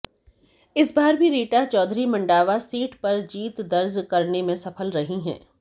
इस बार भी रीटा चौधरी मंडावा सीट पर जीत दर्ज करने में सफल रही हैं